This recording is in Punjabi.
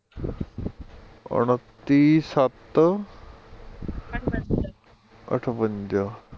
ਉੱਨਤੀ ਸੱਤ ਅਠਵੰਜਾ